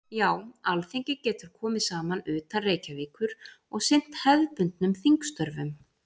Já, Alþingi getur komið saman utan Reykjavíkur og sinnt hefðbundnum þingstörfum.